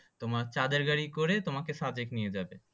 তোমার চাঁদের গাড়ি করে তোমাকে সাদেক নিয়ে যাবে